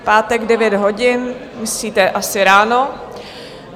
V pátek v 9 hodin, myslíte asi ráno?